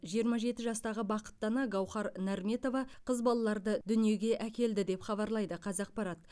жиырма жеті жастағы бақытты ана гауһар нарметова қыз балаларды дүниеге әкелді деп хабарлайды қазақпарат